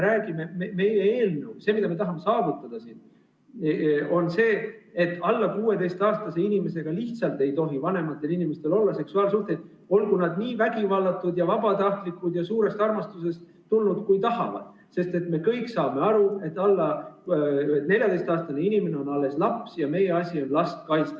Meie eelnõu, see, mida me tahame saavutada, räägib sellest, et alla 16‑aastase inimesega lihtsalt ei tohi vanematel inimestel olla seksuaalsuhteid – olgu need nii vägivallatud ja vabatahtlikud ja suurest armastusest tulnud, kui tahes –, sest me kõik saame aru, et 14‑aastane inimene on alles laps ja meie asi on last kaitsta.